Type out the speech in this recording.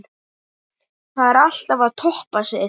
Þarf alltaf að toppa sig?